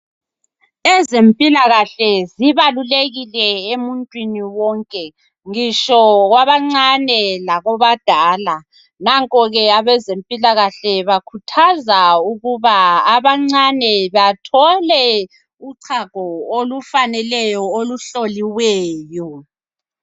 Ezempilakahle zibalulekile emuntwini wonke. Ngitsho kwabancane lakwabadala. Nanko ke abezempilakahle bakhuthaza ukuba abancane bathole uchago olufaneleyo oluhloliweyo.